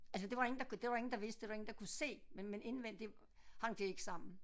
Altså det var der ingen der kunne det var der ingen vidste det var det ingen der kunne se men men indvendig hang det ikke sammen